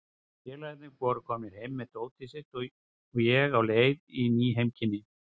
Félagarnir voru komnir heim með dótið sitt og ég á leið í ný heimkynni.